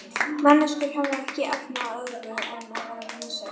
Manneskjur hafa ekki efni á öðru en vera raunsæjar.